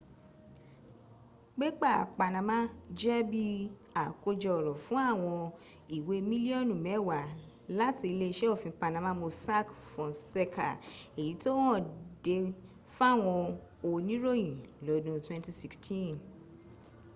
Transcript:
pépà panama jẹ́ bí àkójọ ọ̀rọ̀ fún àwọn ìwé mílíọ̀nù mẹ́wàá láti iléeṣẹ́ òfin panama mossack fonseca èyí tó hàn de fáwọn oníròyìn lọ́dun 2016